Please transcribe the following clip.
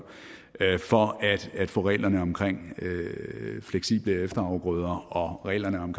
for at få reglerne om fleksible efterafgrøder og reglerne om